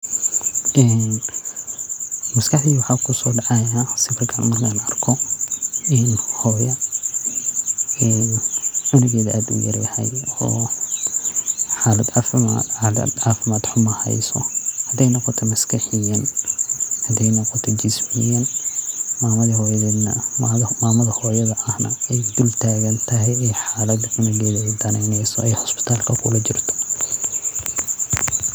En maskaxdeyda waxaa kusoo dhacaya sawirkan markan arko en hoyoo en cunugeeda aad uyar yahay oo xalad caafimad xumo hayso haday noqoto maskaxiyan haday noqoto jismiyan mamada hoyooda ah na ay dul tagantagay ay xalada canugeeda ay udaneyneyso ay isbitalka kula jirto